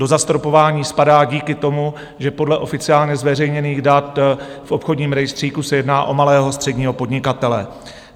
Do zastropování spadá díky tomu, že podle oficiálně zveřejněných dat v obchodním rejstříku se jedná o malého středního podnikatele.